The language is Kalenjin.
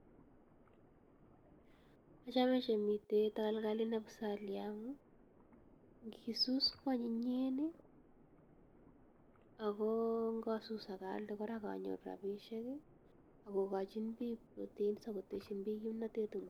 Achame chu miten takalkalit ne pusalia amu ngisus ko anyinyen. Ako ngasus kora aka aalde anyoru rapishek i, ak kokachin proteins ako techin pich kimnatet eng' porto